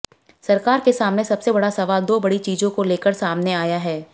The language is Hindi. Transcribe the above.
सरकार के सामने सबसे बड़ा सवाल दो बड़ी चीजों को लेकर सामने आया है